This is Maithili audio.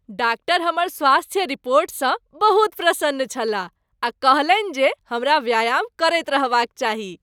डाक्टर हमर स्वास्थ्य रिपोर्टसँ बहुत प्रसन्न छलाह आ कहलनि जे हमरा व्यायाम करैत रहबाक चाही।